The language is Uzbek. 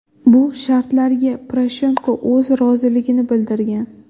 Bu shartlarga Poroshenko o‘z roziligini bildirgan.